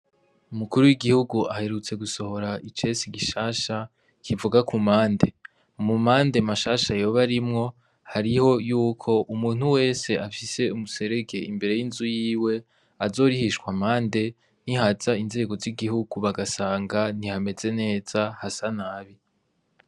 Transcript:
Umukuru w'igihugu aherutse gusohora icese gishasha kivuga ku mande. Mu mande mashasha yoba arimwo, harimwo yuko umuntu wese afise umuserege imbere y'inzu yiwe azorihishwa amande ni haza inzego z'igihugu bagasanga ntihameze neza, hasa nabi.